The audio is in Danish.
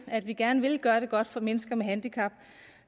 at vi gerne vil gøre det godt for mennesker med handicap